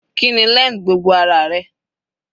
Kíni length gbogbo ara rẹ?